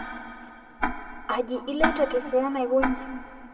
Aji iloito tesiran aikonyi